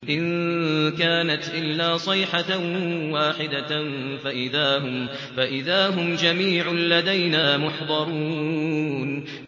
إِن كَانَتْ إِلَّا صَيْحَةً وَاحِدَةً فَإِذَا هُمْ جَمِيعٌ لَّدَيْنَا مُحْضَرُونَ